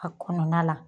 A kɔnɔna la